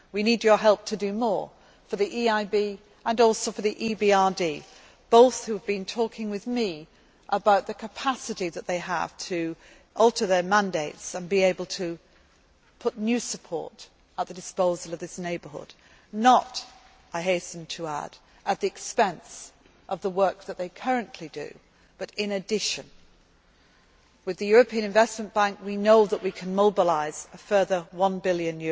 successful. We need your help to do more for the EIB and also for the EBRD, both of whom have been talking with me about the capacity that they have to alter their mandates and be able to put new support at the disposal of this neighbourhood not, I hasten to add, at the expense of the work that they currently do, but in addition. With the European Investment Bank, we know that we can mobilise a further EUR